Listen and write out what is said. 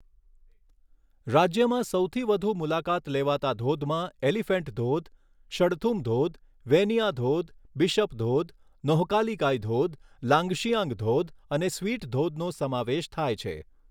રાજ્યમાં સૌથી વધુ મુલાકાત લેવાતા ધોધમાં એલિફેન્ટ ધોધ, શડથુમ ધોધ, વેનિયા ધોધ, બિશપ ધોધ, નોહકાલિકાઈ ધોધ, લાંગશિયાંગ ધોધ અને સ્વીટ ધોધનો સમાવેશ થાય છે.